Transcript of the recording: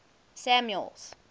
samuel's